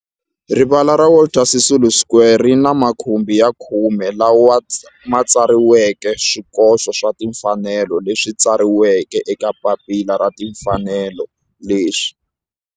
Rivala ra Walter Sisulu Square ri ni makhumbi ya khume lawa ma tsariweke swikoxo swa timfanelo leswi tsariweke eka papila ra timfanelo leswi